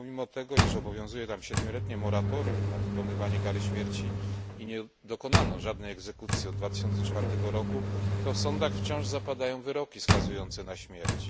Pomimo tego, iż obowiązuje tam siedmioletnie moratorium na wykonywanie kary śmierci i nie dokonano żadnej egzekucji od 2004 roku, to w sądach wciąż zapadają wyroki skazujące na śmierć.